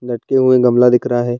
लटके हुए गमला दिख रहा है।